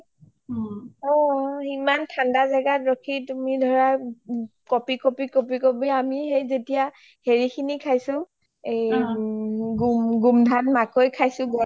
অ ইমান ঠাণ্ডা জাগাত তুমি ৰখি কপি কপি কপি আমি সেই যেতিয়া হেৰি খিনি খাইছো গোমধান মাকৌ খাইছো